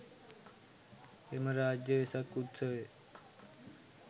එම රාජ්‍ය වෙසක් උත්සවය